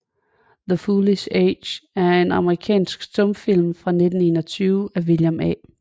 The Foolish Age er en amerikansk stumfilm fra 1921 af William A